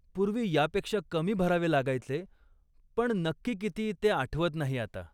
पूर्वी यापेक्षा कमी भरावे लागायचे, पण नक्की किती ते आठवत नाही आता.